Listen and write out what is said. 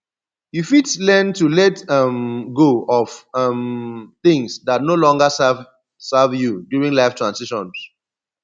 you fit learn to let um go of um things dat no longer serve serve you during life transitions